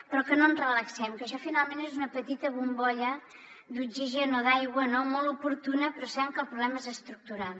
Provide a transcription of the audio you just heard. però no ens relaxem que això finalment és una petita bombolla d’oxigen o d’aigua molt oportuna però sabem que el problema és estructural